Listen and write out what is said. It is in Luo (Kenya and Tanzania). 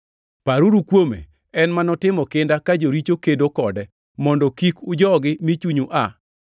Paruru kuome, en ma notimo kinda ka joricho kedo kode, mondo kik ujogi mi chunyu aa.